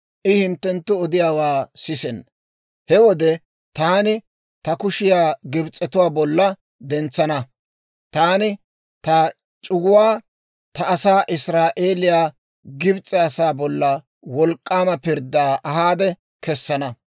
I hinttenttu odiyaawaa sisenna. He wode taani ta kushiyaa Gibs'etuwaa bolla dentsana; taani ta c'uguwaa, ta asaa Israa'eeliyaa, Gibs'e asaa bollan wolk'k'aama pirddaa ahaade kessana.